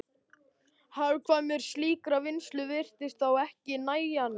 Hagkvæmni slíkrar vinnslu virtist þá ekki nægjanleg.